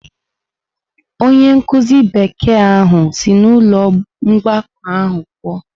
Onye nkụzi Bekee ahụ si n’ụlọ mgbakọ ahụ pụọ.